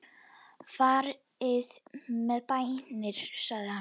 Farið með bænir sagði hann.